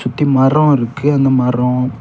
சுத்தி மரோ இருக்கு அந்த மரோ.